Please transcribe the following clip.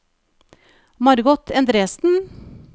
Margot Endresen